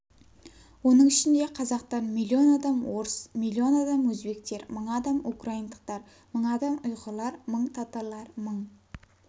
оның ішінде қазақтар миллион адам орыс миллион адам өзбектер мың адам украиндықтар мың адам ұйғырлар мың татарлар мың